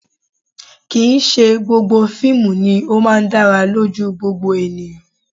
Kì̀ í ṣe gbogbo fíìmù ni ó máa ń dára lójú gbogbo ènìyàn